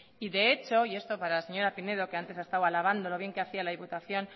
y de hecho y esto para la señora pinedo que antes ha estado alabando lo bien que lo hacía la diputación